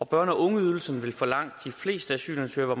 børne og ungeydelsen vil for langt de fleste asylansøgere